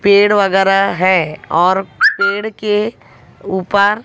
पेड़ वगैरा हैं और पेड़ के ऊपर--